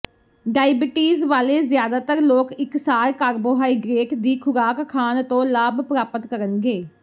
diabetes ਵਾਲੇ ਜ਼ਿਆਦਾਤਰ ਲੋਕ ਇਕਸਾਰ ਕਾਰਬੋਹਾਈਡਰੇਟ ਦੀ ਖੁਰਾਕ ਖਾਣ ਤੋਂ ਲਾਭ ਪ੍ਰਾਪਤ ਕਰਨਗੇ